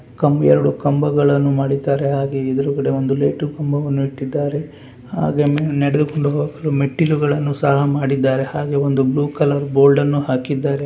ಕಂಬ ಎರಡು ಕಂಬಗಳನ್ನು ಮಾಡಿದ್ದಾರೆ ಹಾಗೆ ಎದುರುಗಡೆ ಒಂದು ಲೈಟು ಕಂಬವನ್ನು ಇಟ್ಟಿದ್ದಾರೆ ಹಾಗೆ ಮೇಲೆ ನಡೆದುಕೊಂಡು ಹೋಗಲು ಮೆಟ್ಟಿಲುಗಳನ್ನು ಸಹಾ ಮಾಡಿದಾರೆ ಹಾಗೂ ಒಂದು ಬ್ಲೂ ಕಲರ್ ಬೋರ್ಡನ್ನು ಹಾಕಿದ್ದಾರೆ.